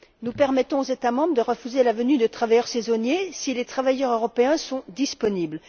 Nous permettons aux États membres de refuser la venue de travailleurs saisonniers si les travailleurs européens sont disponibles.